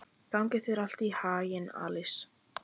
Gangi þér allt í haginn, Alís.